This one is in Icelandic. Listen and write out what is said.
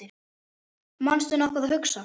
manstu nokkuð að hugsa